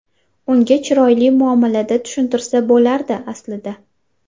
Unga chiroyli muomalada tushuntirsa bo‘lardi, aslida.